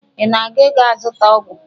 Ị na-aga aga ịzụta ọgwụ?